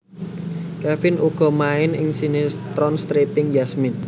Kevin uga main ing sinetron stripping Yasmin